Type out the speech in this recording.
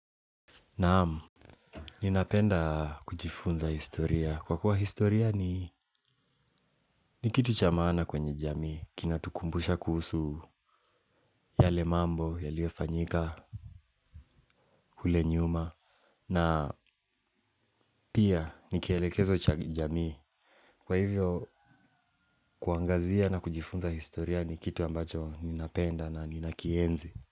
Naam, ninapenda kujifunza historia. Kwa kuwa historia ni ni kitu cha maana kwenye jamii. Kinatukumbusha kuhusu yale mambo, yaliofanyika, kule nyuma. Na pia, ni kielekezo cha kijamii. Kwa hivyo, kuangazia na kujifunza historia ni kitu ambacho ninapenda na ninakienzi.